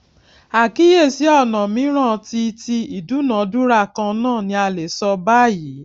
àkíyèsí ọnà mìíràn tí tí ìdúnàádúrà kan náà ni a lè sọ bayìí